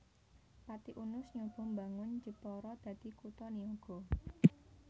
Pati Unus nyoba mbangun Jepara dadi kutha niaga